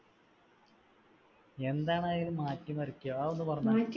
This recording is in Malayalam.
എന്താണതിൽ മാറ്റിമറിക്ക്യ അതൊന്നു പറഞ്ഞെ